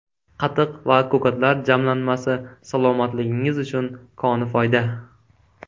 Qatiq va ko‘katlar jamlanmasi salomatligingiz uchun koni foyda.